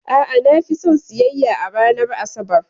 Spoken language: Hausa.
A'a, na fi son siyayya a ranar Asabar.